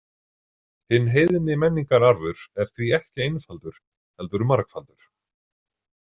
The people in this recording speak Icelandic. Hinn heiðni menningararfur er því ekki einfaldur heldur margfaldur.